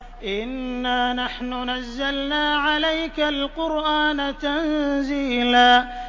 إِنَّا نَحْنُ نَزَّلْنَا عَلَيْكَ الْقُرْآنَ تَنزِيلًا